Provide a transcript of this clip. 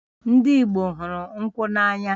Ndị Igbo hụrụ nkwụ n'anya